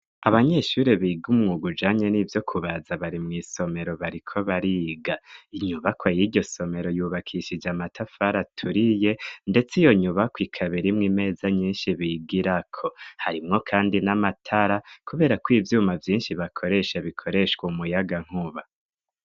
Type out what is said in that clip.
Abanyeshure biga umwuga ujanye n'ibyo kubaza bari mw'isomero bariko bariga inyubakwa y'iryo somero yubakishije amatafara aturiye ndetse iyo nyubakwa ikabiri mw imeza nyinshi bigira ko harimwo kandi n'amatara kubera ko ibyuma vyinshi bakoresha bikoreshwa umuyaga nkuba.